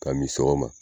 Ka min sɔgɔma